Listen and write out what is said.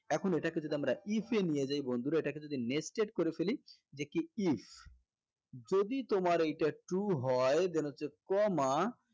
এখন এটাকে যদি আমরা if এ নিয়ে যাই বন্ধুরা এটাকে যদি nested করে ফেলি যে কি if যদি তোমার এইটা true হয় then হচ্ছে এইটা comma